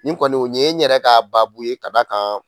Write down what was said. Nin kɔni nin ye n yɛrɛ ka baa ye ka d'a kan